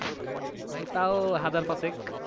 ভাই তাও হাজার পাঁচেক।